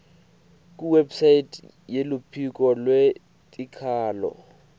kuwebsite yeluphiko lwetikhalo